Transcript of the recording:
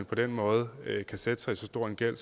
på den måde kan sætte sig i så stor en gæld at